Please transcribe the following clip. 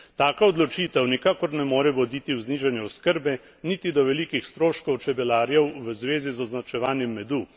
Taka odločitev nikakor ne more voditi v znižanje oskrbe, niti do velikih stroškov čebelarjev v zvezi z označevanjem medu.